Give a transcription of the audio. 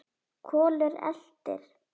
Kolur eltir.